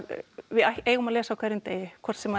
við eigum að lesa á hverjum degi hvort sem